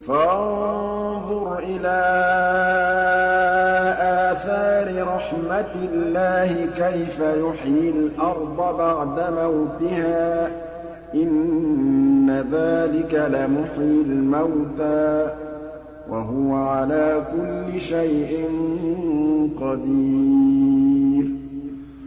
فَانظُرْ إِلَىٰ آثَارِ رَحْمَتِ اللَّهِ كَيْفَ يُحْيِي الْأَرْضَ بَعْدَ مَوْتِهَا ۚ إِنَّ ذَٰلِكَ لَمُحْيِي الْمَوْتَىٰ ۖ وَهُوَ عَلَىٰ كُلِّ شَيْءٍ قَدِيرٌ